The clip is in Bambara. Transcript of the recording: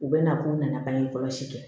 U bɛ na k'u nana bange kɔlɔsi kɛ